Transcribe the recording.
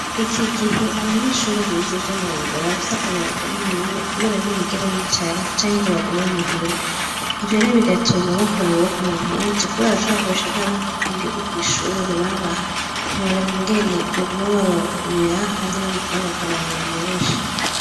Iki gihe abanyeshuri biza ivyo mu bugabo arafise akamaro kanini yiya, kubera ntibigera bicara canke ngo bagume muhira ivyo are bigatuma bakura mbuboko mu muzi ukuba abacabakoresha bw'arigingibwo kw'ishure babaha ntura bingene baguma baronka ibio yaka, kandi n'amafaranga akabana ba menshi.